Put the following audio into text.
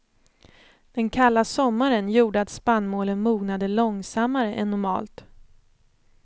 Den kalla sommaren gjorde att spannmålen mognade långsammare än normalt.